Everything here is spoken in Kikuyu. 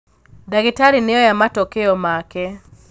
Ndagītarī nīoya matokeo make.